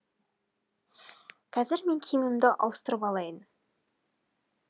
қазір мен киімімді ауыстырып алайын